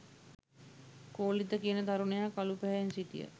කෝලිත කියන තරුණයා කළු පැහැයෙන් සිටියත්